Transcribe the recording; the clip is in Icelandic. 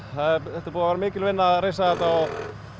þetta er búið að vera mikil vinna að reisa þetta